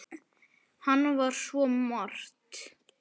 Hann var svo margt.